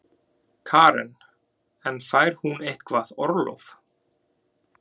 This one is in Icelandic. Karen: En fær hún eitthvað orlof?